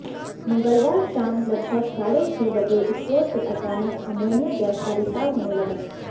मंगलवार शाम लगभग साढ़े छह बजे स्टोर से अचानक अमोनिया गैस का रिसाव होने लगा